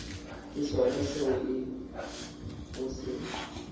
ke sona seo o se